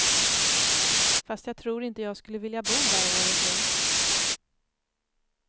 Fast jag tror inte jag skulle vilja bo där året runt.